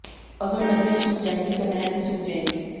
अगर नदियां सूख जाएंगी तो नहर भी सूख जाएंगी